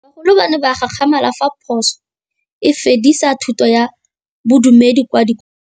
Bagolo ba ne ba gakgamala fa Pusô e fedisa thutô ya Bodumedi kwa dikolong.